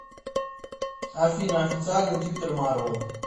афина официальный твиттер марвел